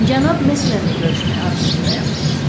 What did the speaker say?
Cənab Mesmerlə görüşmək arzusundayam.